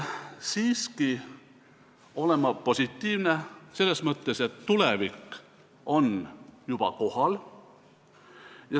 Siiski olen ma positiivne selles mõttes, et tulevik on juba kohal.